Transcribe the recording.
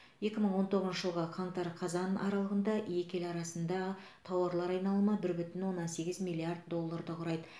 екі мың он тоғызыншы жылғы қаңтар қазан аралығында екі ел арасында тауар айналымы бір бүтін оннан сегіз миллиард долларды құрайды